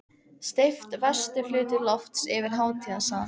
Steypt vestur hluti lofts yfir hátíðasal.